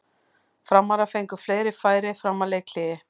Framarar fengu fleiri færi fram að leikhléi.